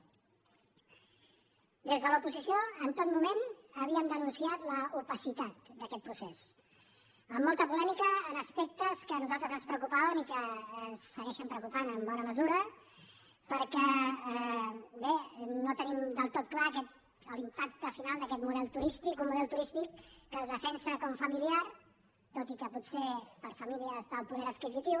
des de l’oposició en tot moment havíem denunciat l’opacitat d’aquest procés amb molta polèmica en aspectes que a nosaltres ens preocupaven i que ens segueixen preocupant en bona mesura perquè bé no tenim del tot clar l’impacte final d’aquest model turístic un model turístic que es defensa com familiar tot i que potser per a famílies d’alt poder adquisitiu